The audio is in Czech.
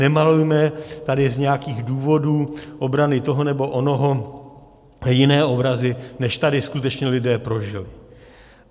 Nemalujme tady z nějakých důvodů obrany toho nebo onoho jiné obrazy, než tady skutečně lidé prožili.